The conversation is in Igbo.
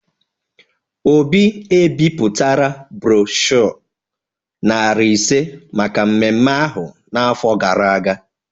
Obi ebipụtara broshọ narị ise maka mmemme ahụ n’afọ gara aga